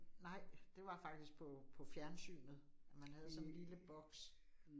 Nej, det var faktisk på på fjernsynet, at man havde sådan en lille boks